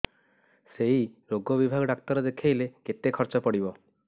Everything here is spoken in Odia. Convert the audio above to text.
ସେଇ ରୋଗ ବିଭାଗ ଡ଼ାକ୍ତର ଦେଖେଇଲେ କେତେ ଖର୍ଚ୍ଚ ପଡିବ